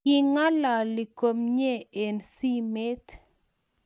King'alali komyee eng simet